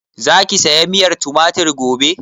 Za ki saya miyar tumatir gobe?